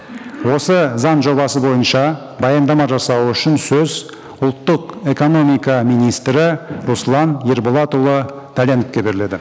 осы заң жобасы бойынша баяндама жасау үшін сөз ұлттық экономика министрі руслан ерболатұлы дәленовке беріледі